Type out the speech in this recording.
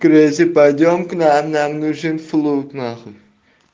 крэйзи пойдём к нам нам нужен флуд нахуй